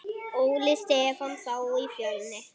Óli Stefán þá í Fjölni?